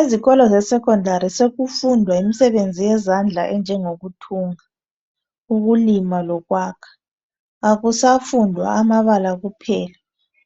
Ezikolo zeSecondary sokufundwa imisebenzi yezandla enjengokuthunga, ukulima lokwakha. Akusafundwa amabala kuphela